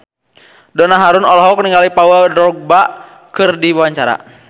Donna Harun olohok ningali Paul Dogba keur diwawancara